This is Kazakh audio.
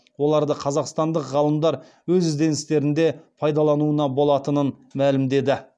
оларды қазақстандық ғалымдар өз ізденістерінде пайдалануына болатынын мәлімдеді